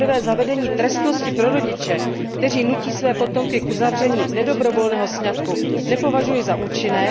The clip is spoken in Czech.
Za prvé zavedení trestnosti pro rodiče, kteří nutí své potomky k uzavření nedobrovolného sňatku, nepovažuji za účinné.